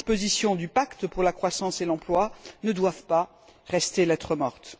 Les dispositions du pacte pour la croissance et l'emploi ne doivent pas rester lettre morte.